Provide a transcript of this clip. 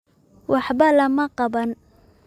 Waxba lama qaban.